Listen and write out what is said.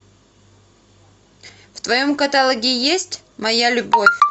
в твоем каталоге есть моя любовь